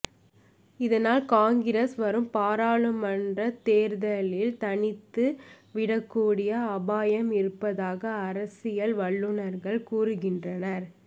இதனால் காங்கிரஸ் வரும் பாராளுமன்ற தேர்தலில் தனித்து விடக்கூடிய அபாயம் இருப்பதாக அரசியல் வல்லுனர்கள் கூறுகின்றனர்